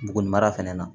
Bugunimara fɛnɛ na